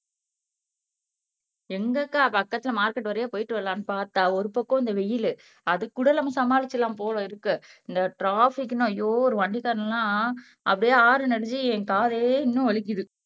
எங்க அக்கா பக்கத்துல மார்க்கெட் வழியா போயிட்டு வரலாம்னு பார்த்தா ஒரு பக்கம் இந்த வெயிலு அதுக்கு கூட நம்ம சமாளிச்சிடலாம் போல இருக்கு இந்த ட்ராபிக்ன்னு ஐயோ ஒரு வண்டிக்காரன் எல்லாம் அப்படியே ஹாரன் அடிச்சு என் காதே இன்னும் வலிக்குது